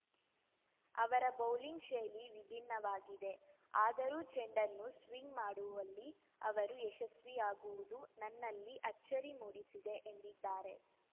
ಅವರ ಬೌಲಿಂಗ್‌ ಶೈಲಿ ವಿಭಿನ್ನವಾಗಿದೆ ಆದರೂ ಚೆಂಡನ್ನು ಸ್ವಿಂಗ್‌ ಮಾಡುವಲ್ಲಿ ಅವರು ಯಶಸ್ವಿಯಾಗುವುದು ನನ್ನಲ್ಲಿ ಅಚ್ಚರಿ ಮೂಡಿಸಿದೆ ಎಂದಿದ್ದಾರೆ